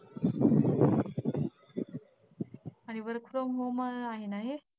आणि work from home आहे ना हे?